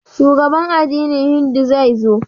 Shugaban addinin Hindu zai zo.